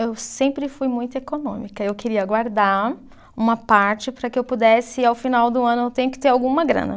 Eu sempre fui muito econômica, eu queria guardar uma parte para que eu pudesse, ao final do ano, eu tenho que ter alguma grana.